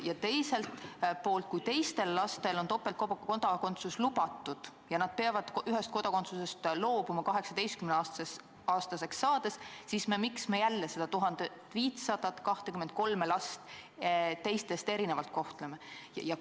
Ja teiseks: kui teistel lastel on topeltkodakondsus lubatud ja nad peavad ühest kodakondsusest loobuma 18-aastaseks saades, siis miks me jälle neid 1523 last teistest erinevalt kohtleme?